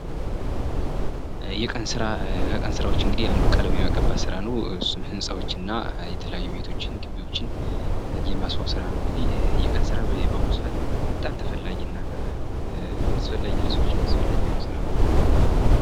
ከቀን ስራዎች እንግዲህ አንዱ ቀለም የመቀባት ስራ ነው እሱም ህንፃዎችን እና የተለያዩ ቤቶችን፥ ግቢዎችን የማስዋብ ስራ ነው ፤ የቀን ስራ በአሁኑ ሰዓት በጣም ተፈላጊና ለሰዎችም አስፈላጊ የሆነ ስራ ነው።